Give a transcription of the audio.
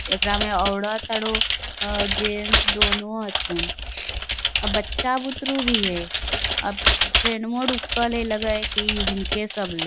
एकरा में औरत और उ जेंट्स दोनो हथुन | अ बच्चा बुतरू भी हई | अब ट्रैनवो रुकल हई लग हई इनके सब ले I